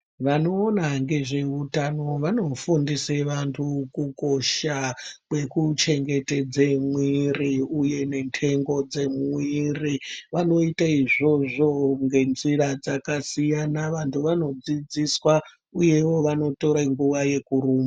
Vanoona ngezveutano vanofundise vantu kukosha Kwekuchengetedze mwiri uye nhengo dzemwiri vanoite izvozvo ngenzira dzakasiyana vantu vanodzidziswa uyewo vanotore nguwa yekuru